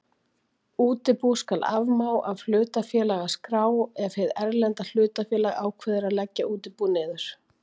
Útibú skal afmá af hlutafélagaskrá ef hið erlenda hlutafélag ákveður að leggja útibú niður.